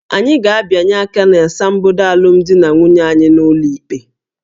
Anyị ga-abịanye aka n'asambodo alụmdi na nwunye anyị n'ụlọ ikpe